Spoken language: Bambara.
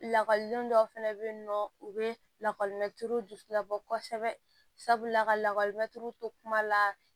Lakɔliden dɔw fɛnɛ bɛ yen nɔ u bɛ lakɔli mɛ tulu julabɔ kosɛbɛ sabula ka lakɔli mɛ tulu to kuma la